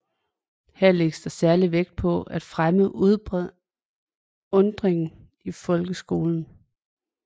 Her lægges der særlig vægt på at fremme undringen i folkeskolen